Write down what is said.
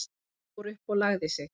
Hún fór upp og lagði sig.